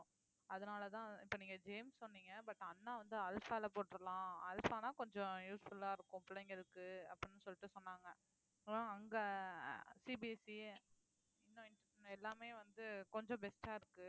அதனாலதான் இப்ப நீங்க ஜேம்ஸ் சொன்னீங்க but அண்ணா வந்து அல்ஃபால போட்டுறலாம் அல்ஃபான்னா கொஞ்சம் useful ஆ இருக்கும் பிள்ளைங்களுக்கு அப்படின்னு சொல்லிட்டு சொன்னாங்க அப்புறம் அங்க CBSE எல்லாமே வந்து கொஞ்சம் best ஆ இருக்கு